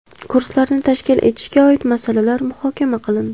Kurslarni tashkil etishga oid masalalar muhokama qilindi.